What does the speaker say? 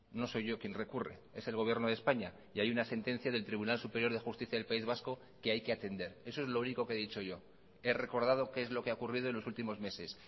no soy yo quien recurre es el gobierno de españa y hay una sentencia del tribunal superior de justicia del país vasco que hay que atender eso es lo único que he dicho yo he recordado qué es lo que ha ocurrido en los últimos meses